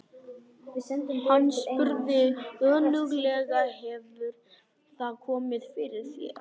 Hann spurði önuglega: Hefur það komið fyrir þig?